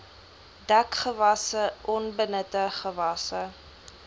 dekgewasse onbenutte gewasse